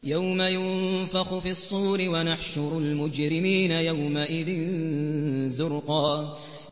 يَوْمَ يُنفَخُ فِي الصُّورِ ۚ وَنَحْشُرُ الْمُجْرِمِينَ يَوْمَئِذٍ زُرْقًا